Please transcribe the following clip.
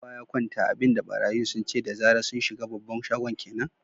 Kowa ya kwanta! abin da barayin sun ce da zara sun shiga babban shagon kenan.